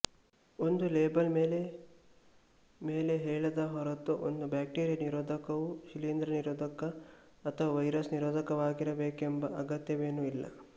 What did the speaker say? ಒಂದು ಲೇಬಲ್ ಮೇಲೆ ಮೇಲೆ ಹೇಳದ ಹೊರತು ಒಂದು ಬ್ಯಾಕ್ಟೀರಿಯ ನಿರೋಧಕವು ಶಿಲೀಂಧ್ರನಿರೋಧಕ ಅಥವಾ ವೈರಸ್ ನಿರೋಧಕವಾಗಿರಬೇಕೆಂಬ ಅಗತ್ಯವೇನೂ ಇಲ್ಲ